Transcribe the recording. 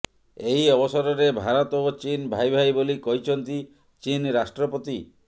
ଏହି ଅବସରରେ ଭାରତ ଓ ଚୀନ୍ ଭାଇ ଭାଇ ବୋଲି କହିଛନ୍ତି ଚୀନ୍ ରାଷ୍ଟ୍ରପତି